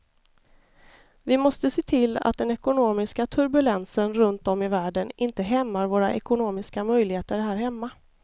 Vi måste se till att den ekonomiska turbulensen runt om i världen inte hämmar våra ekonomiska möjligheter här hemma.